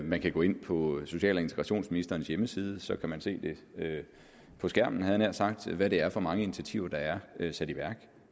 man kan gå ind på social og integrationsministerens hjemmeside og så kan man se på skærmen havde jeg nær sagt hvad det er for mange initiativer der er sat i værk